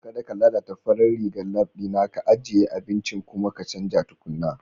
Kada ka lalata farar rigar lab ɗina, ka ajiye abincin kuma ka canza tukuna.